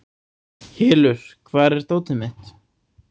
Hylur, hvar er dótið mitt?